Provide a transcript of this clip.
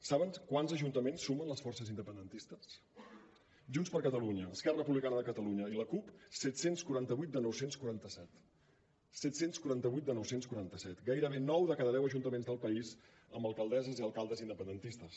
saben quants ajuntaments sumen les forces independentistes junts per catalunya esquerra republicana de catalunya i la cup set cents i quaranta vuit de nou cents i quaranta set set cents i quaranta vuit de nou cents i quaranta set gairebé nou de cada deu ajuntaments del país amb alcaldesses i alcaldes independentistes